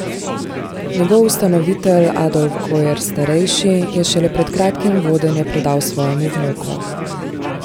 Njegov ustanovitelj Adolf Gojer starejši je šele pred kratkim vodenje predal svojemu vnuku.